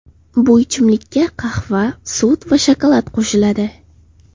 Bu ichimlikka qahva, sut va shokolad qo‘shiladi.